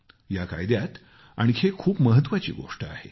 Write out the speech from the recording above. या कायद्यात आणखी एक खूप महत्वाची गोष्ट आहे